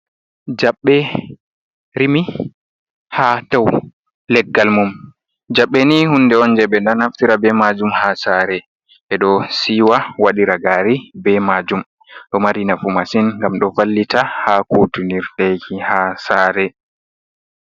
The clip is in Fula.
Jaɓɓe rimi ha dau leggal mum jaɓɓe ni hunde on je ɓe ɗo naftira be majum ha sare ɓe ɗo siwa waɗira gari be majum ɗo mari nafu masin gam ɗo vallita ha kutinirɗeki ha sare.